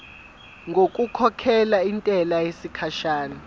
ngokukhokhela intela yesikhashana